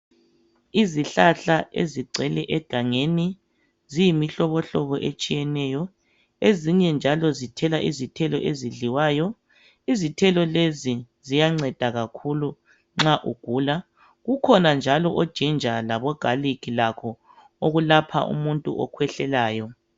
Izihlahla ezigcwele egangeni, ziyimihlobohlobo etshiyeneyo. Ezinye njalo zithela izithelo ezidliwayo ,izithelo lezi ziyanceda kakhulu nxa ugula .Kukhona njalo ojinja labo galikhi lakho okulapha umuntu okhwehlelayo.